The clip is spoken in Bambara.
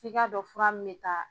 F'i ka dɔn fura min me taa